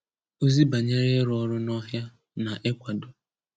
Ózì bànyèrè ị̀rụ̀ ọ́rụ̀ nọ̀hị̀à nà ị̀kwàdò.